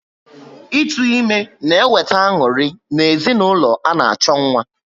Ịtụ ime na eweta anuri na ezinụlọ ana-acho nwa